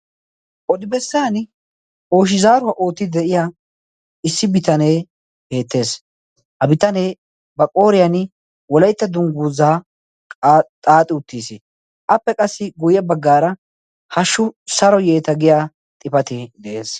Odi bessan ooyshi zaaruwaa oottidi de'iya issi bitanee beettees. ha bitanee ba qooriyan wolaytta dungguuzaa xaaxi uttiis. appe qassi guyye baggaara hashshu saro yeeta giya xifate de'ees.